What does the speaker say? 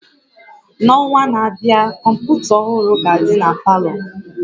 N'ọnwa na-abịa, kọmpụta ọhụrụ ga-adị na palọ